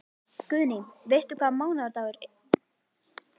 Guðný: Veistu hvaða mánaðardagur?